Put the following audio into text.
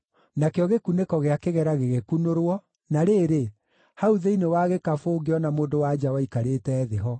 Nakĩo gĩkunĩko gĩa kĩgera gĩgĩkunũrwo, na rĩrĩ, hau thĩinĩ wa gĩkabũ ngĩona mũndũ-wa-nja waikarĩte thĩ ho.